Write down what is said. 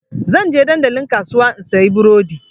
Zan je dandalin kasuwa in sayi burodi.